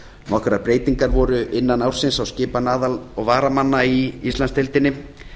nokkrar breytingar voru innan ársins í skipan aðal og varamanna í íslandsdeildinni